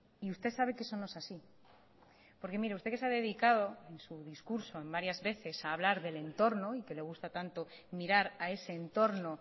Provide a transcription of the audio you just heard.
y usted sabe que eso no es así porque mire usted que se ha dedicado en su discurso en varias veces a hablar del entorno y que le gusta tanto mirar a ese entorno